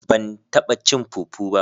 Ban taba cin " fufu" ba